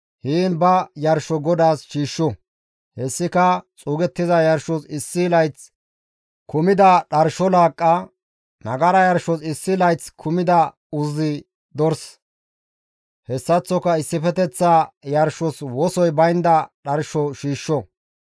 heen ba yarsho GODAAS shiishsho; hessika xuugettiza yarshos issi layth kumida dharsho laaqqa, nagara yarshos issi layth kumida uzzi dors, hessaththoka issifeteththa yarshos wosoy baynda dharsho shiishsho.